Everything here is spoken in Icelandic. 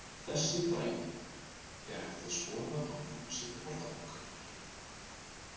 Þessi dæmi er hægt að skoða á heimasíðu Orðabókarinnar.